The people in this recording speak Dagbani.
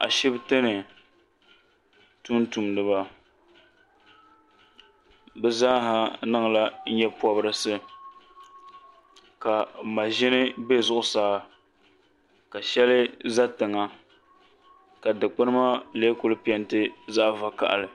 Ashibiti ni tumtumdiba bɛ zaa ha niŋla nyapɔbirisi ka maɣiʒini be zuɣusaa ka shɛlI za tiŋa ka dukpuni maa lee kuli piɛnti zaɣ' vakahili